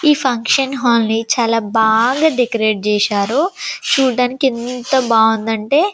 ఈ ఫంక్షన్ హాళ్ల ని చాలా బాగా డెకరాటే చేసారు చూడ్డానికి ఎంత బాగుందంటే--